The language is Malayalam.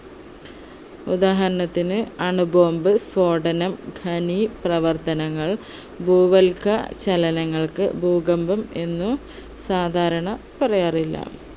ഉദാഹരണത്തിന് അണുബോംബ് സ്ഫോടനം ഖനി പ്രവർത്തങ്ങൾ ഭൂവൽക ചലനങ്ങൾക്ക് ഭൂകമ്പം എന്ന് സാധാരണ പറയാറില്ല